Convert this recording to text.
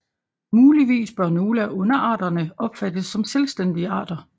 Muligvis bør nogle af underarterne opfattes som selvstændige arter